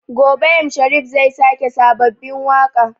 Gobe m Sharif zai sake sababbin waƙa